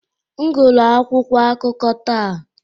M guru akwụkwọ akụkọ taa.